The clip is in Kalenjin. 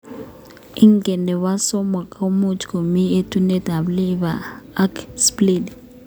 Ing nepo somok ko much komii etunet ap liver ak spleen.